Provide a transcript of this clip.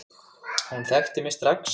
Hún þekkti mig strax.